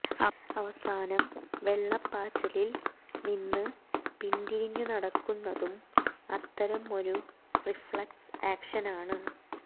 അവസാനം വെള്ളപ്പാച്ചിലിൽ നിന്ന് പിന്തിരിഞ്ഞു നടക്കുന്നതും അത്തരം ഒരു റിഫ്ളക്സ് ആക്ഷനാണ്